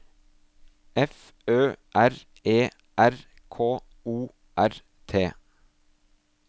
F Ø R E R K O R T